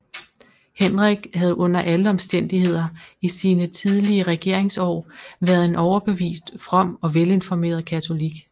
Henrik havde under alle omstændigheder i sine tidlige regeringsår været en overbevist from og velinformeret katolik